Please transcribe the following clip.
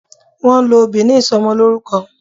Wón ń lọ òbí ní Ìsọmọlọ́rúkọ